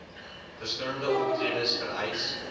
verskillende optredes vereis